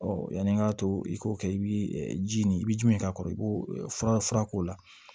yanni n k'a to i k'o kɛ i bɛ ji nin i bɛ jumɛn k'a kɔrɔ i b'o fura fura k'o la